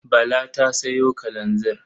Bala ta sayo kalanzir.